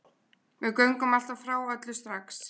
Við göngum alltaf frá öllu strax